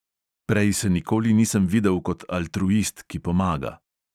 Prej se nikoli nisem videl kot altruist, ki pomaga.